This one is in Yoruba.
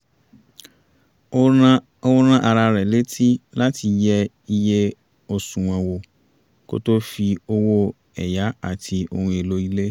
ó rán ara rẹ̀ létí láti yẹ iye àsùnwọ̀n wò kó tó fi owó ẹ̀yá àti ohun èlò ilé